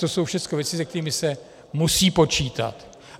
To jsou všechno věci, se kterými se musí počítat.